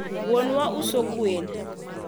wuonwa uso gweno